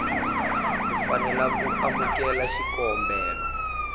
u fanela ku amukela xikombelo